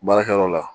Baarakɛyɔrɔ la